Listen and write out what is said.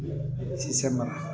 Sisɛ mara